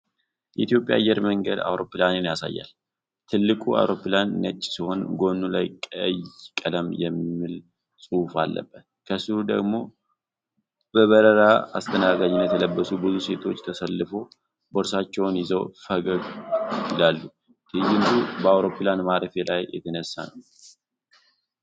የኢትዮጵያ አየር መንገድ አውሮፕላንን ያሳያል። ትልቁ አውሮፕላን ነጭ ሲሆን ጎኑ ላይ ቀይ ቀለም የሚል ጽሑፍ አለበት። ከሥሩ ደግሞ በበረራ አስተናጋጅነት የለበሱ ብዙ ሴቶች ተሰልፈው ቦርሳቸውን ይዘው ፈገግ ይላሉ። ትዕይንቱ በአውሮፕላን ማረፊያ ላይ የተነሳ ነው።